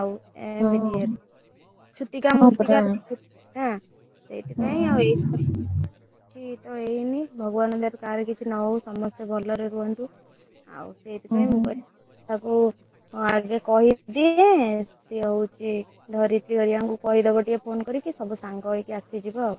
ଏମିତି ଇଏ ରେ ଛୁତିକା ମୂର୍ତିକା ସେଥିପାଇଁ ଆଉ ଏଇଥର କିଛି ତ ହେଇନି ଭଗବାନଙ୍କ ଦୟାରୁ କାହାର କିଛି ନ ହଉ ସମସ୍ତେ ଭଲ ରେ ରୁହନ୍ତୁ ଆଉ ସେଥିପାଇଁ ମୁଁ କହିଲି ତାକୁ ଆଗେ କହିଦିଏ ସେ ହଉଛି ଧରିତ୍ରୀ ହେରିକାଙ୍କୁ କହିଦବ ଟିକେ ଫୋନ କରିକି ସବୁ ସାଙ୍ଗ ହେଇକି ଆସିଯିବ ଆଉ।